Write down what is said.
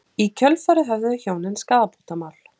Í kjölfarið höfðuðu hjónin skaðabótamál